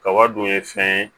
Kaba dun ye fɛn ye